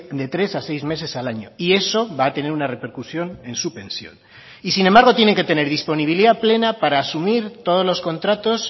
de tres a seis meses al año y eso va a tener una repercusión en su pensión y sin embargo tienen que tener disponibilidad plena para asumir todos los contratos